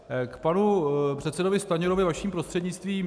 K panu předsedovi Stanjurovi vaším prostřednictvím.